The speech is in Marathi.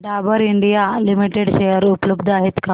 डाबर इंडिया लिमिटेड शेअर उपलब्ध आहेत का